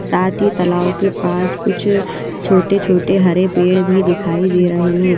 साथ ही तलाव के पास कुछ छोटे-छोटे हरे पेड़ भी दिखाई दे रहे हैं।